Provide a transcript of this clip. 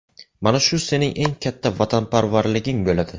Mana shu sening eng katta vatanparvarliging bo‘ladi.